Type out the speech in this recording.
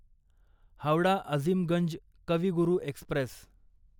Howrah Azimganj Kavi Guru Express